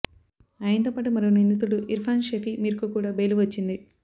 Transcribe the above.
ఆయనతో పాటు మరో నిందితుడు ఇర్ఫాన్ షఫీ మీర్కు కూడా బెయిల్ వచ్చింది